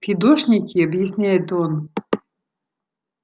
фидошники объясняет он